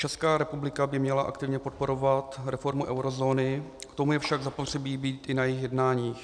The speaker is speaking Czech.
Česká republika by měla aktivně podporovat reformu eurozóny, k tomu je ovšem zapotřebí být i na jejích jednáních.